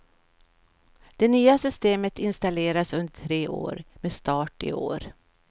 Det nya systemet installeras under tre år, med start i år.